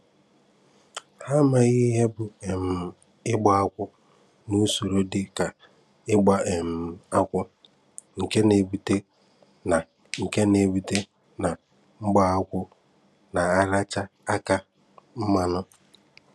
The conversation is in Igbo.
Hà amaghị ihe bụ́ um ìgbà akwù, na usoro dị ka n’ígbà um akwù, nke na-ebute na nke na-ebute na mgbaakwù na-áràchá aka mmanụ̀.